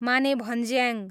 Manebhanjyang